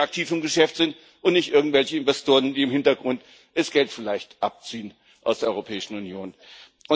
Nämlich die, die aktiv im Geschäft sind, und nicht an irgendwelche Investoren, die im Hintergrund vielleicht das Geld aus der Europäischen Union abziehen.